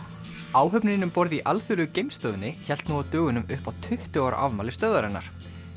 áhöfnin um borð í Alþjóðlegu geimstöðinni hélt nú á dögunum upp á tuttugu ára afmæli stöðvarinnar